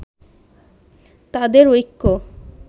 তাদের ঐক্য